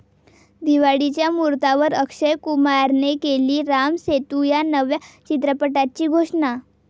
दिवाळीच्या मुहूर्तावर अक्षय कुमारने केली राम सेतू या नव्या चित्रपटाची घोषणा